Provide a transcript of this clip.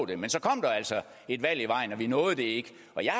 det men så kom der altså et valg i vejen og vi nåede det ikke